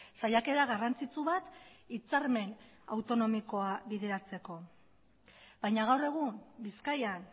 saiakera garrantzitsu bat hitzarmen autonomikoa bideratzeko baina gaur egun bizkaian